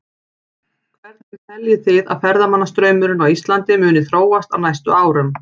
Hvernig teljið þið að ferðamannastraumurinn á Íslandi muni þróast á næstu árum?